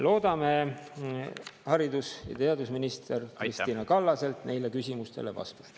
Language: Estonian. Loodame haridus- ja teadusminister Kristina Kallaselt neile küsimustele vastust.